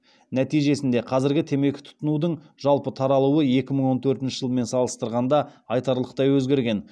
нәтижесінде қазіргі темекі тұтынудың жалпы таралуы екі мың он төртінші жылмен салыстырғанда айтарлықтай өзгерген